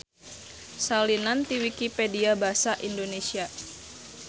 Salinan ti Wikipedia basa Indonesia.